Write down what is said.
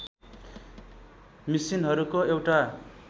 मिसिनहरूको एउटा